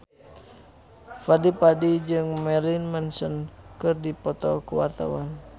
Fadly Padi jeung Marilyn Manson keur dipoto ku wartawan